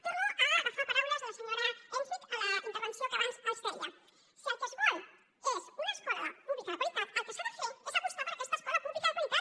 torno a agafar paraules de la senyora enkvist a la intervenció que abans els deia si el que es vol és una escola pública de qualitat el que s’ha de fer és apostar per aquesta escola pública de qualitat